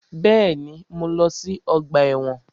Bẹ́ẹ̀ni, mo lọ sí ọgbà ẹ̀wọ̀n